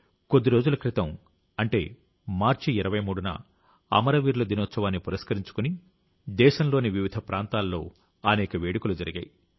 కొద్ది రోజుల క్రితం అంటే మార్చి 23న అమరవీరుల దినోత్సవాన్ని పురస్కరించుకుని దేశంలోని వివిధ ప్రాంతాల్లో అనేక వేడుకలు జరిగాయి